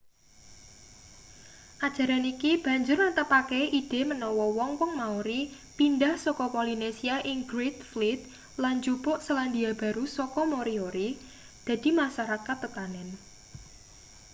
ajaran iki banjur netepake ide manawa wong-wong maori pindah saka polinesia ing great fleet lan njupuk selandia baru saka moriori dadi masarakat tetanen